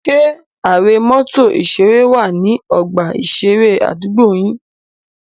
Ṣé are mọ́tò ìṣeré wà ní ọgbà ìṣeré àdúgbò yín?